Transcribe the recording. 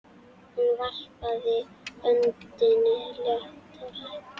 Hún varpaði öndinni léttar.